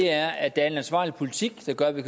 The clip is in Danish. er at der er en ansvarlig politik der gør at vi